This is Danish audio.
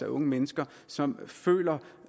unge mennesker som føler